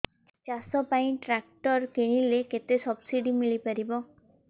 ଚାଷ ପାଇଁ ଟ୍ରାକ୍ଟର କିଣିଲେ କେତେ ସବ୍ସିଡି ମିଳିପାରିବ